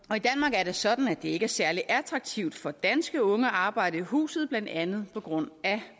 er det sådan at det ikke er særlig attraktivt for danske unge at arbejde i huset blandt andet på grund af